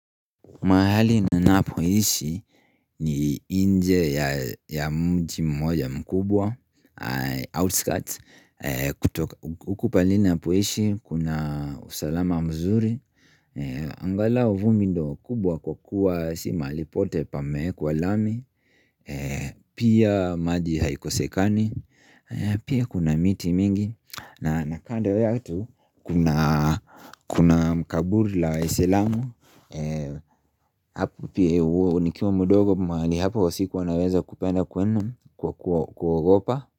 Mahali ninapoishi ni nje ya mji mmoja mkubwa, outskirts, huku pahali ninapoishi, kuna usalama mzuri. Angalau vumbi ndio kubwa kwa kukua si mahali pote pameekwa lami, pia maji haikosekani, pia kuna miti mingi. Na kando kunaa kuna mkaburi la waislamu Hapo pia nikiwa mdogo mahali hapo siku naweza kupenda kwenda kwa kwa kuogopa.